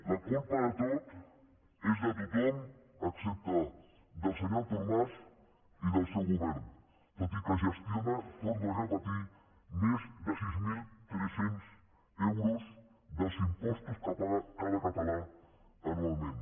la culpa de tot és de tothom excepte del senyor artur mas i del seu govern tot i que gestiona ho torno a repetir més de sis mil tres cents euros dels impostos que paga cada català anualment